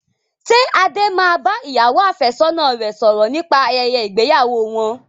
Ṣé Adé máa bá ìyàwó àfẹ́sọ́nà rẹ sọ̀rọ̀ nípa ayẹyẹ ìgbéyàwó wọn?